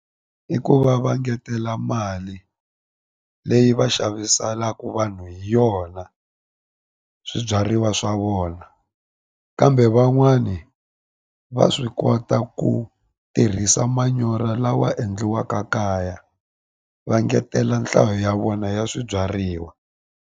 I ku va va engetela mali leyi va xaviselaka vanhu hi yona swibyariwa swa vona kambe van'wani va swi kota ku tirhisa manyoro lawa endliwaka kaya va engetela nhlayo ya vona ya swibyariwa.